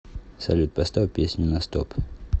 салют поставь песню на стоп